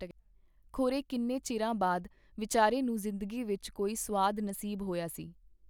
ਖੋਰੇ ਕਿੰਨੇ ਚਿਰਾਂ ਬਾਅਦ ਵਿਚਾਰੇ ਨੂੰ ਜ਼ਿੰਦਗੀ ਵਿਚ ਕੋਈ ਸੁਆਦ ਨਸੀਬ ਹੋਇਆ ਸੀ!.